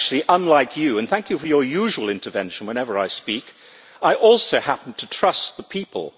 Unlike you and thank you for your usual intervention whenever I speak I also happen to trust the people.